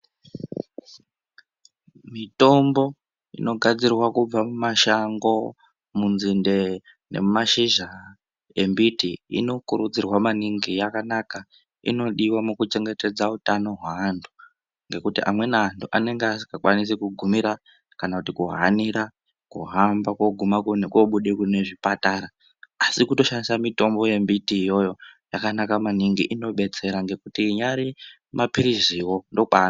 Mitombo inogadzirwa kubva mumashango ,munzinde nemumashizha embiti inokurudzirwa maningi yakanaka inodiwa mukuchengetedza utano hweantu ngekuti amweni antu anenge asingakwanisi kugumira kana kuhanira kuhamba kogume kobuda kune zvipatara asi kutoshandisa mitombo yembiti iyoyo yakanaka maningi inodetsera ngekuti inyari mapiriziwo ndokwaanobva.